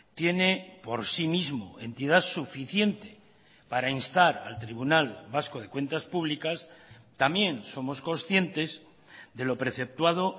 tiene por sí mismo entidad suficiente para instar al tribunal vasco de cuentas públicas también somos conscientes de lo preceptuado